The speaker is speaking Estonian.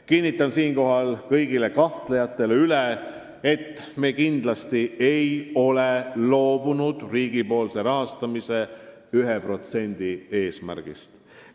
Kinnitan siinkohal kõigile kahtlejatele üle, et me kindlasti ei ole loobunud eesmärgist suurendada riigipoolset rahastamist 1%-ni SKT-st.